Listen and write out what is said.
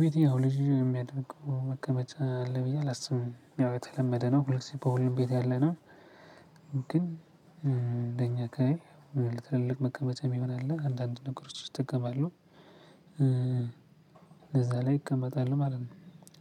ቤት ያው ልጅ የሚያደርገው መቀመጫ አለ ብዬ አላስብም ያው የተለመደ ነው። ሁልጊዜ በሁሉም ቤት ያለና ግን እንደኛ አካባቢ ከትልቅ መቀመጫ የሚሆን አለ አንዳንድ ነገሮች ውስጥ እጠቀማለሁ። እንደዛ ላይ ይቀመጣሉ ማለት ነው።